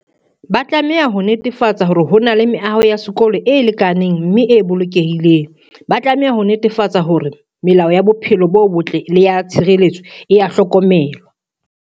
Ba tlameha ho netefatsa hore ho na le meaho ya sekolo e lekaneng mme e bolokehileng. Ba tlameha ho netefatsa hore melao ya bophelo bo botle le ya tshireletso, e a hlokomelwa.